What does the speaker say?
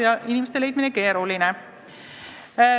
Nii et inimesi leida on keeruline.